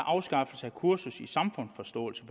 afskaffelse af kursus i samfundsforståelse